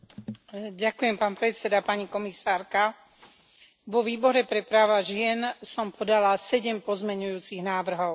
Vážený pán predseda, pani komisárka, vo Výbore pre práva žien som podala 7 pozmeňujúcich návrhov.